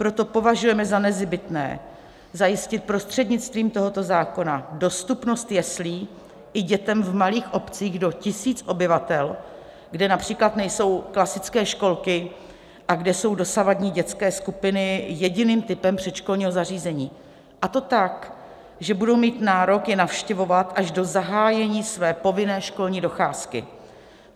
Proto považujeme za nezbytné zajistit prostřednictvím tohoto zákona dostupnost jeslí i dětem v malých obcích do tisíce obyvatel, kde například nejsou klasické školky a kde jsou dosavadní dětské skupiny jediným typem předškolního zařízení, a to tak, že budou mít nárok je navštěvovat až do zahájení své povinné školní docházky.